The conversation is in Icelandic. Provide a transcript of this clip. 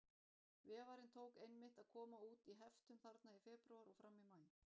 Vefarinn tók einmitt að koma út í heftum þarna í febrúar og fram í maí.